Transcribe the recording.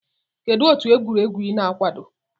Kedụ otu egwuregwu I na-akwado?